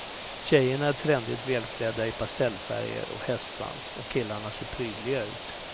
Tjejerna är trendigt välklädda i pastellfärger och hästsvans, och killarna ser prydliga ut.